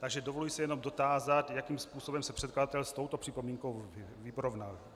Takže dovoluji se jenom dotázat, jakým způsobem se předkladatel s touto připomínkou vyrovnal.